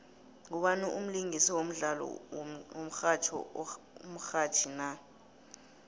ngubani umlingisi wodlalo womxhatjho omrhatjhi na